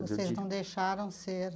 Vocês não deixaram ser.